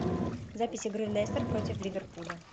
запись игры лестер против ливерпуля